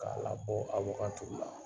K'a labɔ awoka tulu la.